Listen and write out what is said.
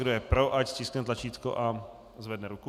Kdo je pro, ať stiskne tlačítko a zvedne ruku.